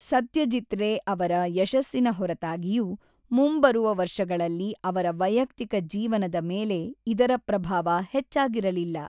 ಸತ್ಯಜೀತ್ ರೇ ಅವರ ಯಶಸ್ಸಿನ ಹೊರತಾಗಿಯೂ, ಮುಂಬರುವ ವರ್ಷಗಳಲ್ಲಿ ಅವರ ವೈಯಕ್ತಿಕ ಜೀವನದ ಮೇಲೆ ಇದರ ಪ್ರಭಾವ ಹೆಚ್ಚಾಗಿರಲಿಲ್ಲ.